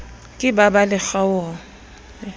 ke ba ba le kgaoho